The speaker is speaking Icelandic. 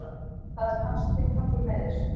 Það er hans tilgangur með þessu